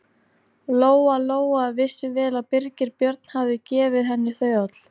Lóa-Lóa vissi vel að Birgir Björn hafði gefið henni þau öll.